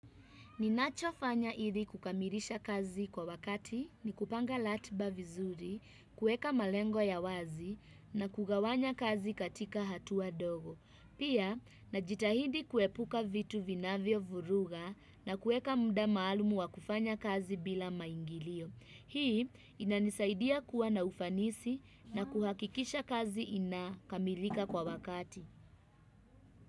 Ninachofanya ilikukamilisha kazi kwa wakati ni kupanga ratiba vizuri, kueka malengo ya wazi na kugawanya kazi katika hatua dogo. Pia, najitahidi kuepuka vitu vinavyovuruga na kueka muda maalumu wa kufanya kazi bila maingilio. Hii inanisaidia kuwa na ufanisi na kuhakikisha kazi ina kamilika kwa wakati.